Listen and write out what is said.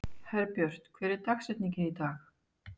Herbjört, hver er dagsetningin í dag?